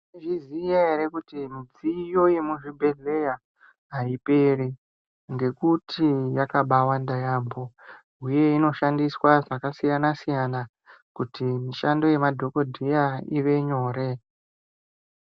Mwaizviziya ere kuti midziyo yemuzvibhedhlera aiperi ngekuti yakabaawanda kwemene uye kuti inoshandiswa zvakasiyana siyana kuti mishando yemadhokodheya ive nyore.